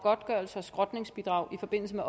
ønsket